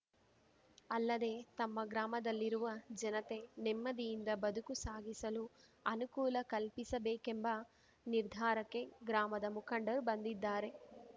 ಅಲ್ಲದೇ ತಮ್ಮ ಗ್ರಾಮದಲ್ಲಿರುವ ಜನತೆ ನೆಮ್ಮದಿಯಿಂದ ಬದುಕು ಸಾಗಿಸಲು ಅನುಕೂಲ ಕಲ್ಪಿಸಬೇಕೆಂಬ ನಿರ್ಧಾರಕ್ಕೆ ಗ್ರಾಮದ ಮುಖಂಡರು ಬಂದಿದ್ದಾರೆ